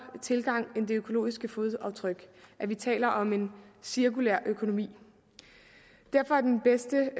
tilgang end det økologiske fodaftryk at vi taler om en cirkulær økonomi derfor er den bedste